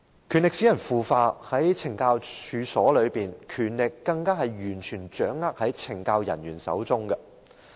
權力使人腐化，在懲教處所內，權力更加完全掌握在懲教人員手中。